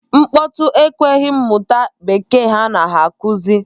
Nkpọtụ ekweghị m mụta bekee a na-akụzi.